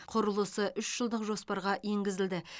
құрылысы үш жылдық жоспарға енгізілді